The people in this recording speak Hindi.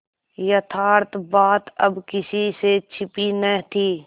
यथार्थ बात अब किसी से छिपी न थी